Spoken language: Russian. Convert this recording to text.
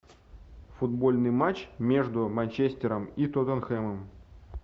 футбольный матч между манчестером и тоттенхэмом